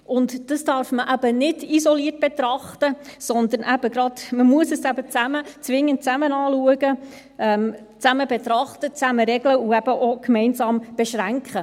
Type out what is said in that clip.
Dies darf man eben nicht isoliert betrachten, sondern man muss es zwingend zusammen anschauen, zusammen betrachten, zusammen regeln und eben auch gemeinsam beschränken.